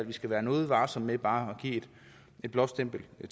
vi skal være noget varsomme med bare at give et blåstempel det